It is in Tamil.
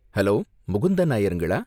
ஹலோ முகுந்தன் நாயர்ங்களா